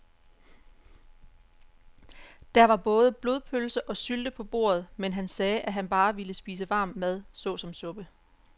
Der var både blodpølse og sylte på bordet, men han sagde, at han bare ville spise varm mad såsom suppe.